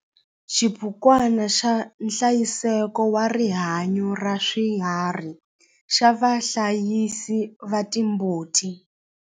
XIBUKWANA XA NHLAYISEKO WA RIHANYO RA SWIHARHI XA VAHLAYISI VA TIMBUTI